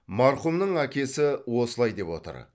марқұмның әкесі осылай деп отыр